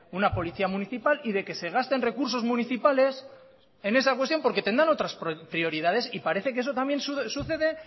una policía municipal y de que se gasten recursos municipales en esa cuestión porque tendrán otras prioridades y parece que eso también sucede